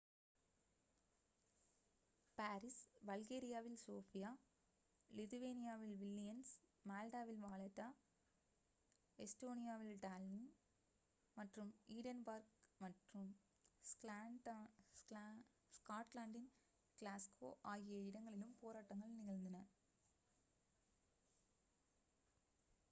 Paris பல்கேரியாவில் Sofia லிதுவேனியாவில் Vilnius மால்டாவில் வாலெட்டா எஸ்டோனியாவில் டால்லின் மற்றும் ஈடென்பர்க் மற்றும் ஸ்காட்லாண்டின் கிளாஸ்கோ ஆகிய இடங்களிலும் போராட்டங்கள் நிகழ்ந்தன